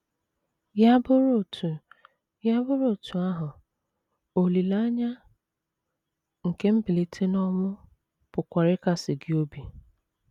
Ya bụrụ otú Ya bụrụ otú ahụ, olileanya nke mbilite n’ọnwụ pụkwara ịkasi gị obi.